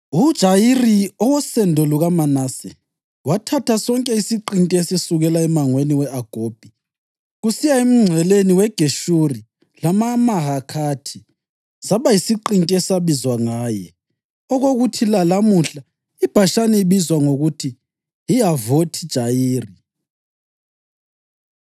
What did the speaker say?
UJayiri, owosendo lukaManase, wathatha sonke isiqinti esisukela emangweni we-Agobhi kusiya emngceleni weGeshuri lamaMahakhathi; saba yisiqinti esabizwa ngaye, okokuthi lalamuhla iBhashani ibizwa ngokuthi yiHavothi-Jayiri.)